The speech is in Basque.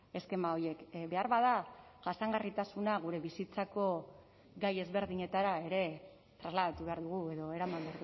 eskema horiek beharbada jasangarritasuna gure bizitzako gai ezberdinetara ere trasladatu behar dugu edo eraman